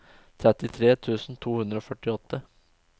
trettitre tusen to hundre og førtiåtte